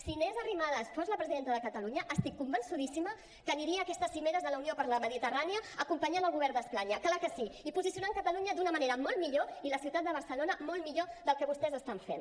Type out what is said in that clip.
si inés arrimadas fos la presidenta de catalunya estic convençudíssima que aniria a aquestes cimeres de la unió per la mediterrània acompanyant el govern d’espanya clar que sí i posicionant catalunya d’una manera molt millor i la ciutat de barcelona molt millor del que vostès ho estan fent